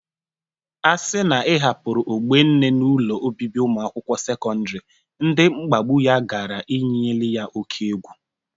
A sị na ị hapụrụ Ogbonne n'ụlọ obibi ụmụ akwụkwo sekọndịrị, ndị mkpagbụ ya gara eyinyela ya oke egwu.